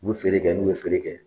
U bi feere kɛ n'u ye feere kɛ